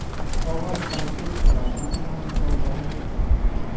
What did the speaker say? Qog‘oz salfetkalardan ham foydalanish mumkin.